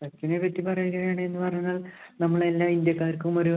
സച്ചിനെ പറ്റി പറയുകയാണ് എന്ന് പറഞ്ഞാല്‍ നമ്മള്‍ എല്ലാ ഇന്ത്യക്കാര്‍ക്കും ഒരു